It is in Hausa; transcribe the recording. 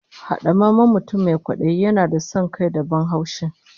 Hadamammen mutum mai kwadayi yana da son kai da ban haushi